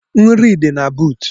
Nri dị na buut.